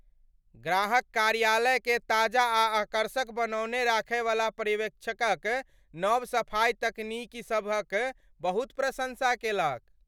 ग्राहक कार्यालयकेँ ताजा आ आकर्षक बनौने राखयवला पर्यवेक्षकक नव सफाई तकनीकसभक बहुत प्रशंसा केलक।